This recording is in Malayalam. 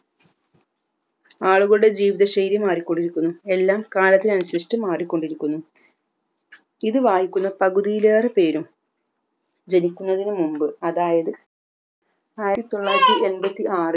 ആളുകളുടെ ജീവിതശൈലി മാറിക്കൊണ്ടിരിക്കുന്നു എല്ലാം കാലത്തിനനുസരിച്ച് മാറിക്കൊണ്ടിരിക്കുന്നു ഇത് വായിക്കുന്ന പകുതിലേറെ പേരും ജനിക്കുന്നതിനി മുമ്പ് അതായത് ആയിരത്തി തൊള്ളായിരത്തി എൻബത്തി ആറിൽ